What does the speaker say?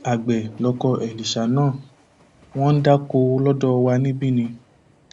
àgbẹ lọkọ èlíṣà náà wọn ń dáko lọdọ wa níbí ni